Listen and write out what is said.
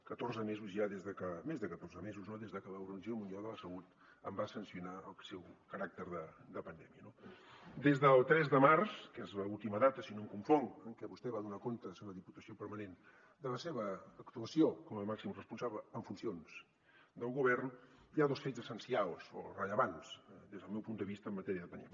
catorze mesos ja més de catorze mesos no des que l’organització mundial de la salut en va sancionar el seu caràcter de pandèmia no des del tres de març que és l’última data si no em confonc en què vostè va donar comptes a la diputació permanent de la seva actuació com a màxim responsable en funcions del govern hi ha dos fets essencials o rellevants des del meu punt de vista en matèria de pandèmia